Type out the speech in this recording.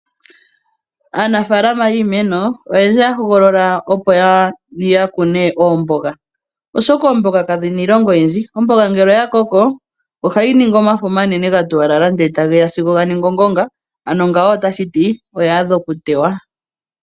Aanafalama yiimeno oyendji ohaya hogolola opo ya kune oomboga oshoka oomboga kadhina iilonga oyindji. Omboga ngele oya koko ohayi ningi omafo omanene ga tuwalala nde tageya sigo ga ningi ongonga ngawo otashi ti oya adha oku tewa.